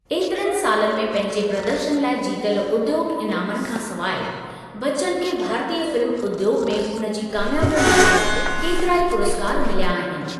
ऐतिरनि सालनि में पंहिंजे प्रदर्शन लाइ जीतियल उद्योग इनामनि खां सवाइ, बच्चन खे भारतीय फिल्म उद्योग में हुन जी कामयाबियुनि लाइ केतिरा ई पुरस्कार मिलिया आहिनि।